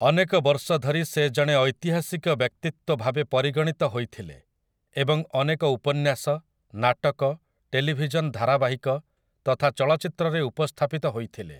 ଅନେକ ବର୍ଷ ଧରି ସେ ଜଣେ ଐତିହାସିକ ବ୍ୟକ୍ତିତ୍ୱ ଭାବେ ପରିଗଣିତ ହୋଇଥିଲେ ଏବଂ ଅନେକ ଉପନ୍ୟାସ, ନାଟକ, ଟେଲିଭିଜନ ଧାରାବାହିକ ତଥା ଚଳଚ୍ଚିତ୍ରରେ ଉପସ୍ଥାପିତ ହୋଇଥିଲେ ।